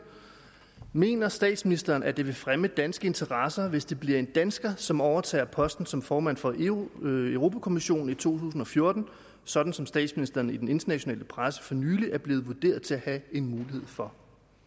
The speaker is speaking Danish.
mener statsministeren at det vil fremme danske interesser hvis det bliver en dansker som overtager posten som formand for europa europa kommissionen i to tusind og fjorten sådan som statsministeren i den internationale presse for nylig er blevet vurderet til at have en mulighed for